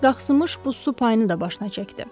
Krisk qaxşımış bu su payını da başına çəkdi.